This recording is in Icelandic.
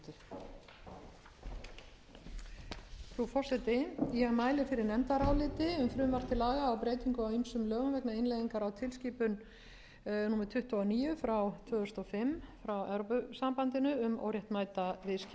breytingu á ýmsum lögum vegna innleiðingar á tilskipun númer tuttugu og níu tvö þúsund og fimm frá evrópusambandinu um óréttmæt